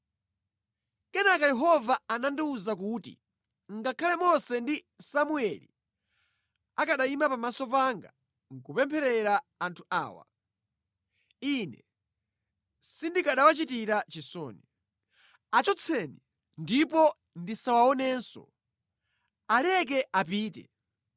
Kenaka Yehova anandiwuza kuti, “Ngakhale Mose ndi Samueli akanayima pamaso panga kupempherera anthu awa, Ine sindikanawachitira chisoni. Achotseni ndipo ndisawaonenso! Aleke apite!